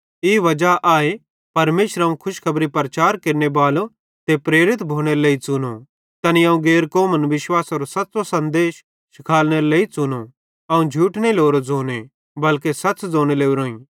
ई वजा आए परमेशरे अवं खुशखबरी प्रचार केरनेबालो ते प्रेरित भोनेरे लेइ च़ुनो तैने अवं गैर कौमन विश्वासेरो सच़्च़ो सन्देश शिखालनेरे लेइ च़ुनो अवं झूठ नईं लोरो ज़ोने बलके सच़ ज़ोने लोरोईं